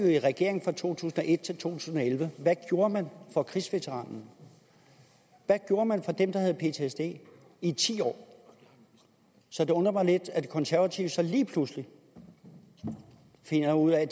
i regering fra to tusind og et til to tusind og elleve hvad gjorde man for krigsveteranerne hvad gjorde man for dem der havde ptsd i ti år så det undrer mig lidt at de konservative så lige pludselig finder ud af